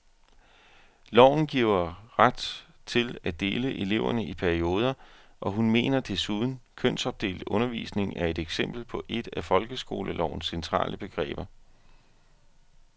Loven giver ret til at dele eleverne i perioder, og hun mener desuden, kønsopdelt undervisning er et eksempel på et af folkeskolelovens centrale begreber.